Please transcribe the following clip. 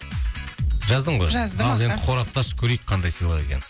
жаздың ғой жаздым аха ал енді қорапты ашып көрейік қандай сыйлық екенін